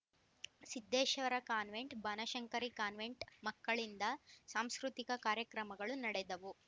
Siddeshwara convent Banashankari convent ಮಕ್ಕಳಿಂದ ಸಾಂಸ್ಕೃತಿಕ ಕಾರ್ಯಕ್ರಮಗಳು ನಡೆದವು